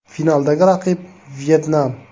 Finaldagi raqib Vyetnam .